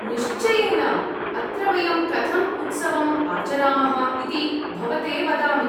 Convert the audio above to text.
निश्चयेन ! अत्र वयं कथम् उत्सवम् आचरामः इति भवते वदामि।